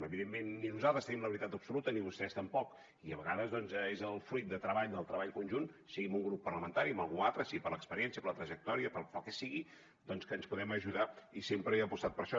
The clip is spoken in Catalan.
evidentment ni nosaltres tenim la veritat absoluta ni vostès tampoc i a vegades doncs és pel fruit del treball del treball conjunt sigui amb un grup parlamentari o amb algú altre sigui per l’experiència per la trajectòria pel que sigui doncs que ens podem ajudar i sempre he apostat per això